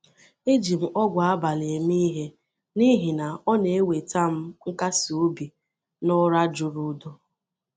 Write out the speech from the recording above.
E ji m ogwù abalị eme ihe n’ihi na ọ na-eweta m nkasi obi na ụra juru udo.